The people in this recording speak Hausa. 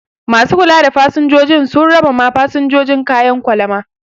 Ma su kula da fasinjoji sun raba ma fasinjoji kayan kwalama